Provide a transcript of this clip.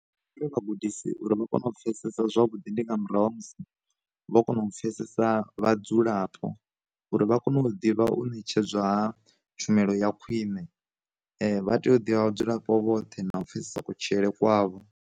Vha gudisi uri vha kone u pfesesa zwavhuḓi ndi nga murahu ha musi vho kona u pfesesa vhadzulapo, uri vha kone u ḓivha u ṋetshedza tshumelo ya khwine, vha tea u ḓivha vha dzulapo vhoṱhe na u pfhesesa kutshilele kwavho.